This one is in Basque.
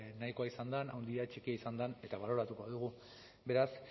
nahikoa izan den handia txikia izan den eta baloratuko dugu beraz